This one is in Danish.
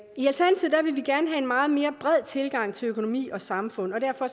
en meget mere bred tilgang til økonomi og samfund og derfor